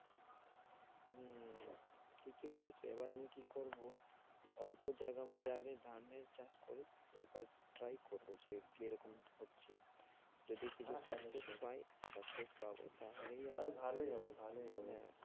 ঠিকই বলেছো, এবার আমি কি করবো অল্প জায়গার মধ্যে আগে ধানের চাষ করি, একবার try করবো যে কিরকম কি হচ্ছে যদি কিছু success পাই, success পাবো তাহলেই আমি, আরে ভালোই হবে ভালোই হবে।